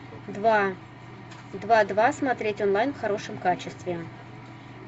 два два два смотреть онлайн в хорошем качестве